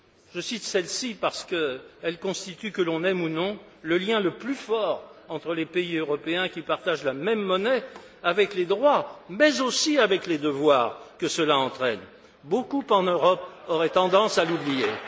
Je cite celle ci parce qu'elle constitue, que l'on aime ou non, le lien le plus fort entre les pays européens qui partagent la même monnaie avec les droits, mais aussi avec les devoirs que cela entraîne. Beaucoup en Europe auraient tendance à l'oublier.